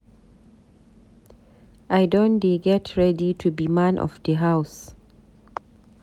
I don dey get ready to be man of di house.